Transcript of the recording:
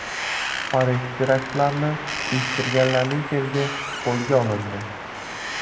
Parij teraktlarini uyushtirganlarning sherigi qo‘lga olindi.